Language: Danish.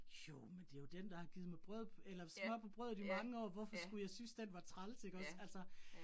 Jo, men det jo den, der har givet mig brød eller smør på brødet i mange år, hvorfor skulle jeg synes den var træls ikke også altså